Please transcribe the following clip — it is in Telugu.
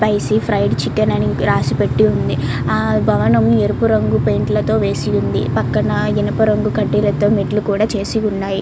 స్పైసి ఫ్రైడ్ చికెన్ అని రాసి పెట్టి ఉంది ఆ భవనము ఎరుపు రంగు పెయింట్ల తో యేసి ఉంది పక్కన ఇనప రంగు కడ్డీలతో మెట్లు కూడా చేసి ఉన్నాయి.